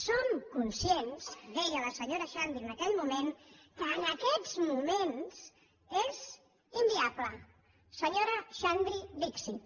som conscients deia la se·nyora xandri en aquell moment que en aquests mo·ments és inviable senyora xandri dixit